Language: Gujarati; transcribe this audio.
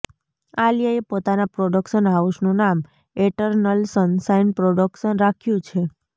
આલિયાએ પોતાના પ્રોડક્શન હાઉસનું નામ એટરનલ સનશાઇન પ્રોડક્શન્સ રાખ્યું છે